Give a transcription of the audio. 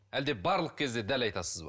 әлде барлық кезде дәл айтасыз ба